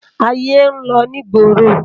Ayé n lò ni igbórô